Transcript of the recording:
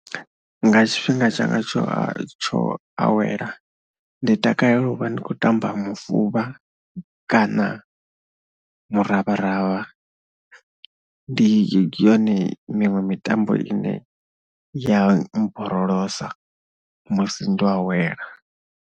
Nga tshifhinga tshanga tsho tsho awela ndi takalela u vha ndi khou tamba mufuvha kana muravharavha. Ndi yone miṅwe mitambo ine ya mmborolosa musi ndo awela.